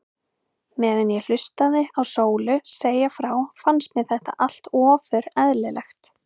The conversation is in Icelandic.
Meðan ég hlustaði á Sólu segja frá fannst mér þetta allt ofur eðlilegt.